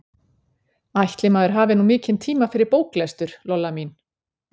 Ætli maður hafi nú mikinn tíma fyrir bóklestur, Lolla mín.